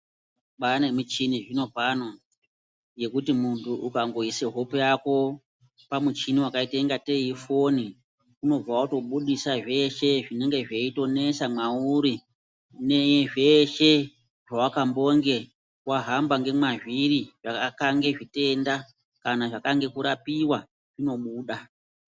Kwane michini zvinopano yekuti muntu ukangoyisa hope yako pamuchini wakayita ingateyi ifoni, unobva watobudisa zveshe zvinenge zveyitonesa mwauri, nezveshe zvawakambonge wahamba ngemwazviri, zvakange zvitenda, kana zvakange kurapiwa zvinobuda.